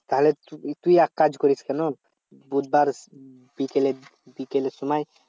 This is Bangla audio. তাহলে তুই এক কাজ করিস কেমন বুধবার বিকেলে বিকেলের সময়